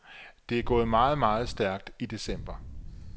Det er gået meget, meget stærkt i december.